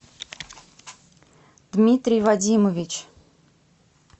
дмитрий вадимович